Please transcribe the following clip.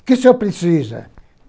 O que o senhor precisa?